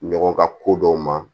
Ɲɔgɔn ka ko dɔw ma